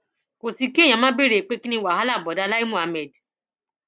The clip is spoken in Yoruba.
kò sí kí èèyàn má béèrè pé kín ni wàhálà bóodá láì muhammed